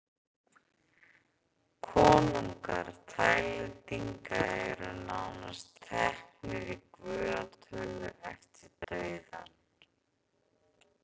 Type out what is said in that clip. Konungar Taílendinga eru nánast teknir í guðatölu eftir dauðann.